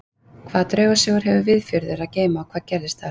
Hvaða draugasögur hefur Viðfjörður að geyma og hvað gerðist þar?